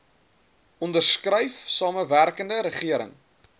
onderskryf samewerkende regering